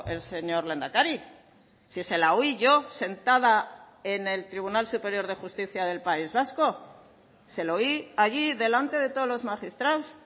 el señor lehendakari si se la oí yo sentada en el tribunal superior de justicia del país vasco se lo oí allí delante de todos los magistrados